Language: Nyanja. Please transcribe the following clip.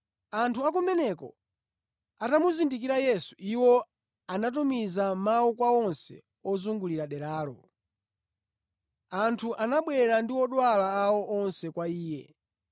Anthu akumeneko atamuzindikira Yesu, iwo anatumiza mawu kwa onse ozungulira deralo. Anthu anabwera ndi odwala awo onse kwa Iye.